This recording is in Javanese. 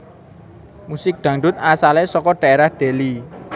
Musik Dangdut asalé saka dhaérah Deli